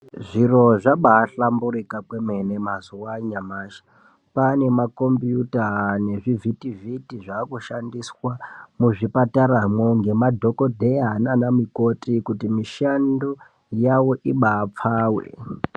Zviro zvabahlamburika kwemene mazuwa anyamashi. Kwane makombiyuta nezvivhiti-vhiti zvakushandiswa muzvipataramwo ngemadhokodheya nana mikoti kuti mishando yavo ibapfave.